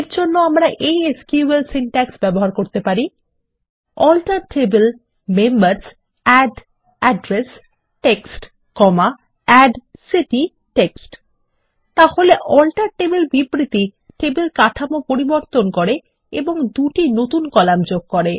এর জন্য আমরা এই এসকিউএল সিনট্যাক্স ব্যবহার করতে পারি160 alter table members add address text add city text তাহলে আল্টার টেবল বিবৃতি টেবিল কাঠামো পরিবর্তন করে এবং দুটি নতুন কলাম যোগ করে